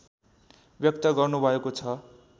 व्यक्त गर्नुभएको छ